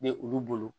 Ne olu bolo